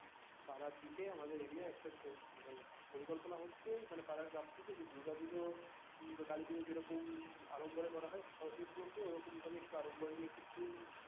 পাড়ার দিকে একটা area মানে একটা পরিকল্পনা হচ্ছে মানে পাড়ার club থেকে যে দুর্গা পুষো বা কালি পূজো যেরকম আড়ম্বরে করা হয় সরস্বতী পূজো কেও একটু ওরকম ভাবে একটু আড়ম্বর নিয়ে একটু theme